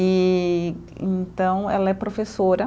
E então, ela é professora.